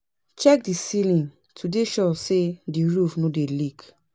Check di ceiling to dey sure sey di roof no dey leak